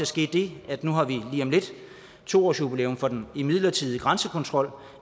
ske det nu har vi lige om lidt to årsjubilæum for den midlertidige grænsekontrol